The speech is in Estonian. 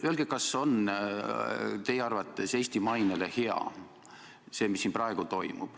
Öelge, kas see, mis siin praegu toimub, on teie arvates Eesti mainele hea?